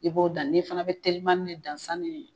I b'o dan e fana bɛ telima ni ni ye